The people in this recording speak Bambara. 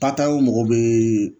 mɔgɔ bɛ